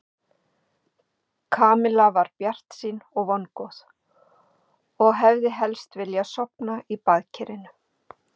Kamilla var bjartsýn og vongóð og hefði helst vilja sofna í baðkarinu.